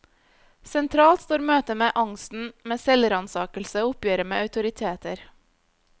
Sentralt står møtet med angsten, med selvransakelse og oppgjøret med autoriteter.